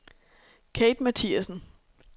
Kathe Mathiassen